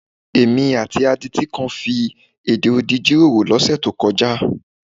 Èmi àti adití kan fi èdè odi jíròrò lọ́sẹ̀ tó kọjá.